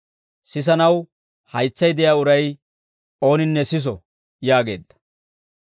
sisanaw haytsay de'iyaa uray ooninne siso» yaageedda.